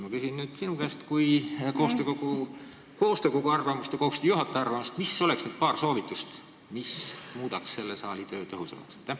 Ma küsin sinu käest koostöökogu arvamust ja koostöökogu juhataja arvamust, mis oleksid need paar soovitust, mis muudaks selle saali töö tõhusamaks.